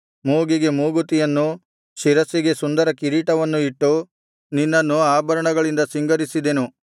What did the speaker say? ಮೂಗಿಗೆ ಮೂಗುತಿಯನ್ನು ಶಿರಸ್ಸಿಗೆ ಸುಂದರ ಕಿರೀಟವನ್ನು ಇಟ್ಟು ನಿನ್ನನ್ನು ಆಭರಣಗಳಿಂದ ಸಿಂಗರಿಸಿದೆನು